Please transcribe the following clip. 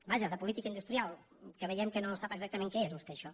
vaja de política industrial que veiem que no sap exactament què és vostè això